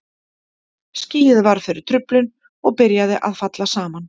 Skýið varð fyrir truflun og byrjaði að falla saman.